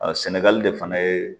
sɛnɛgali de fana ye